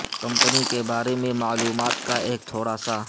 company کے بارے میں معلومات کا ایک تھوڑا سا